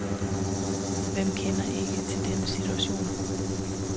Hvem kender ikke til denne situation?